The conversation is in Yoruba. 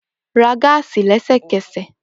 Ra gáásì lẹsẹkẹsẹ!